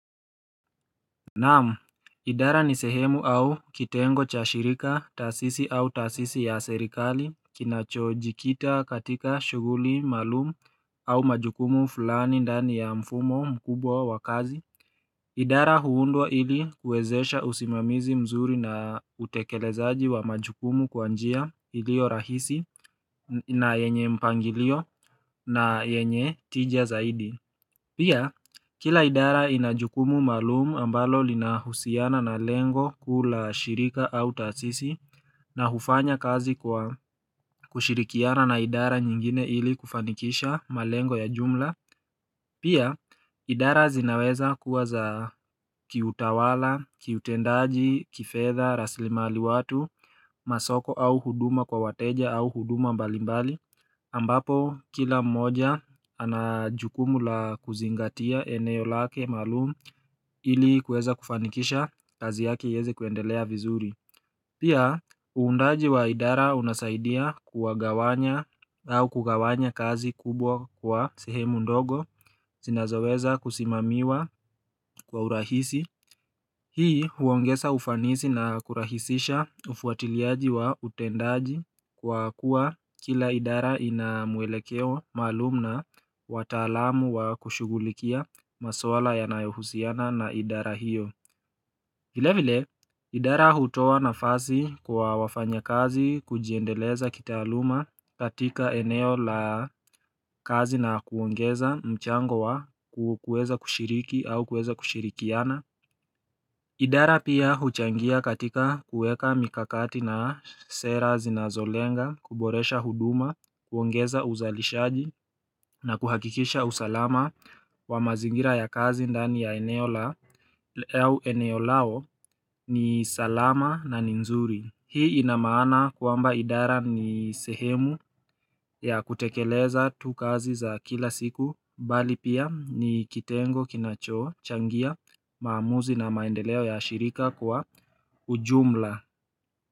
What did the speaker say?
Naam idara ni sehemu au kitengo cha shirika taasisi au taasisi ya serikali kinachojikita katika shughuli maalumu au majukumu fulani ndani ya mfumo mkubwa wa kazi idara huundwa ili kuwezesha usimamizi mzuri na utekelezaji wa majukumu kwa njia ilio rahisi na yenye mpangilio na yenye tija zaidi Pia, kila idara ina jukumu maalumu ambalo linahusiana na lengo kuu la shirika au taasisi na hufanya kazi kwa kushirikiana na idara nyingine ili kufanikisha malengo ya jumla. Pia, idara zinaweza kuwa za kiutawala, kiutendaji, kifedha, rasilimali watu, masoko au huduma kwa wateja au huduma mbalimbali, ambapo kila mmoja ana jukumu la kuzingatia eneo lake maalumu ili kuweza kufanikisha kazi yake iweze kuendelea vizuri. Pia, uundaji wa idara unasaidia kuwagawanya au kugawanya kazi kubwa kwa sehemu ndogo, zinazoweza kusimamiwa kwa urahisi. Hii huongeza ufanisi na kurahisisha ufuatiliaji wa utendaji kwa kuwa kila idara inamwelekeo maalumu na wataalamu wa kushugulikia maswala yanayohusiana na idara hiyo. Vile vile idara hutoa nafasi kwa wafanyakazi kujiendeleza kitaaluma katika eneo la kazi na kuongeza mchango wa kuweza kushiriki au kuwwza kushirikiana idara pia huchangia katika kuweka mikakati na sera zinazolenga kuboresha huduma kuongeza uzalishaji na kuhakikisha usalama wa mazingira ya kazi ndani ya eneo lao ni salama na nzuri Hii ina maana kwamba idara ni sehemu ya kutekeleza tu kazi za kila siku Bali pia ni kitengo kinachochangia maamuzi na maendeleo ya shirika kwa ujumla.